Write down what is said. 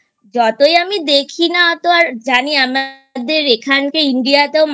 যতই আমি দেখি না অতো আর জানি আমাদের এখানকার India তেও